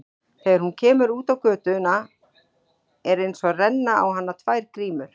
Þegar hún kemur út á götuna er einsog renni á hana tvær grímur.